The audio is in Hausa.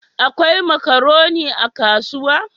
Akwai makaroni a kasuwa?